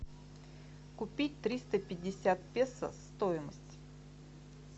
купить триста пятьдесят песо стоимость